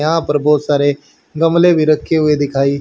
यहां पर बहोत सारे गमले भी रखे हुए दिखाई--